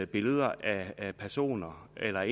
billeder af personer eller